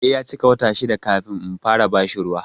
Sai ya cika wata shida kafin in fara bashi ruwa.